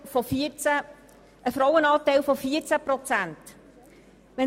Das ergibt einen Frauenanteil von 14 Prozent.